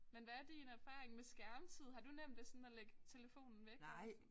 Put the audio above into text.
Men hvad er din erfaring med skærmtid har du nemt ved sådan at lægge telefonen væk og sådan